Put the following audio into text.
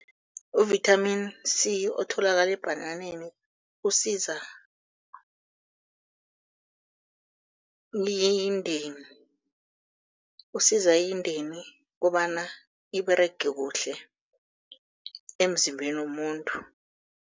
U-vitamin C otholakala ebhananeni usiza indeni, usiza indeni kobana iberege kuhle emzimbeni womuntu.